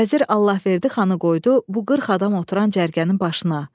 Vəzir Allahverdi xanı qoydu bu qırx adam oturan cərgənin başına.